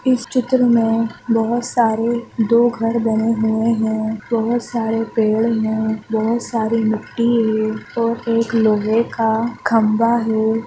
इस चित्र मे बहोत सारे दो घर बने हुए हैं बोहत सारे पेड़ है बोहत सारी मिट्टी हैऔर एक लोहे का खंबा है ।